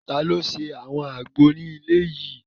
Taló ṣe àwọn àgbo ní ilé yìí?